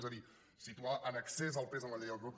és a dir situar en excés el pes en la llei electoral